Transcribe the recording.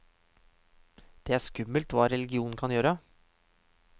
Det er skummelt hva religionen kan gjøre.